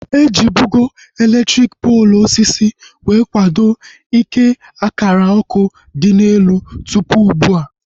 Ejibugo elektriki poolu osisi wee kwado ike akara ọkụ dị n'elu tụpụ ugbua